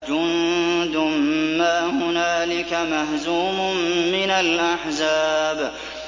جُندٌ مَّا هُنَالِكَ مَهْزُومٌ مِّنَ الْأَحْزَابِ